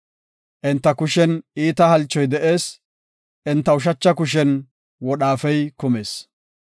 Enta kushen iita halchoy de7ees; enta ushacha kushen wodhaafey kumis.